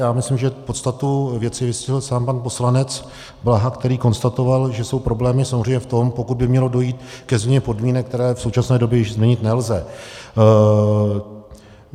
Já myslím, že podstatu věci vystihl sám pan poslanec Blaha, který konstatoval, že jsou problémy samozřejmě v tom, pokud by mělo dojít ke změně podmínek, které v současné době již změnit nelze.